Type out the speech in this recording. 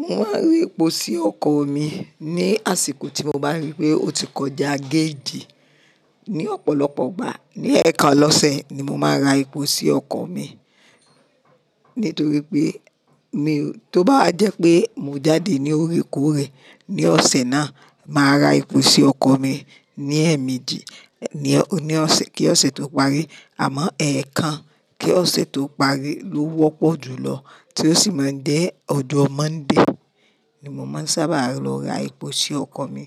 Mo máa ń rí epo sí ọkọ̀ mi ní àsìkò tí mo bá rí i pé ó ti kọjá géèjì. Ní ọ̀pọ̀lọpọ̀ ìgbà, ní ẹ̀ẹ̀kan lọ́sẹ̀ ni mo máa ra epo sí ọkọ̀ mi. Nítorí pé mi ó, tó bá jẹ́ pé mo jáde ní ore kúurẹ́ ní ọ̀sẹ̀ náà, màá ra epo sí ọkọ̀ mi ní ẹ̀ẹ̀mejì ní ọ̀sẹ̀, kí ọ̀sẹ̀ tó parí. Àmọ́ ẹẹ́ẹ̀kan kí ọ̀sẹ̀ tó parí ló wọ́pọ̀ jùlọ tí ó sì máa ń dé ọjo Monday ni mo máa ń sábà lọ ra epo sí ọkọ̀ mi